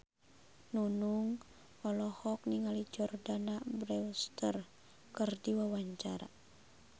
Nunung olohok ningali Jordana Brewster keur diwawancara